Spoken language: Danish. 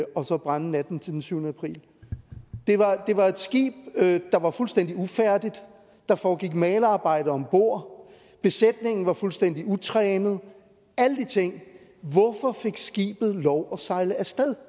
brænde natten til den syvende april det var et skib der var fuldstændig ufærdigt der foregik malerarbejde om bord besætningen var fuldstændig utrænet alle de ting hvorfor fik skibet lov at sejle afsted